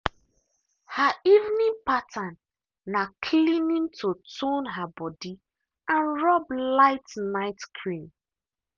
her evening pattern na cleaning to tone her body and rub light night cream